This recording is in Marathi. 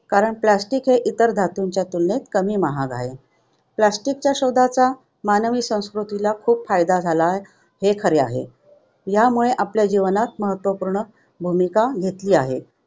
कारण plastic इतर धातूंच्या तुलनेत कमी महाग आहे. Plastic च्या शोधाचा मानवी संस्कृतीला खूप फायदा झाला हे खरे आहे. यामुळे आपल्या जीवनात महत्त्वपूर्ण भूमिका घेतली आहे.